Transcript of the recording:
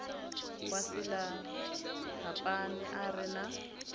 wa silahapani a re na